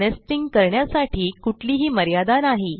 nesting करण्यासाठी कुठलीही मर्यादा नाही